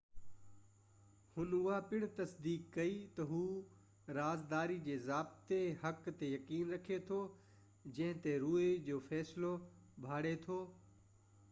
هن اها پڻ تصديق ڪئي ته هُو رازداري جي باضابطه حق تي يقين رکي ٿو جنهن تي روئي جو فيصلو ڀاڙي ٿو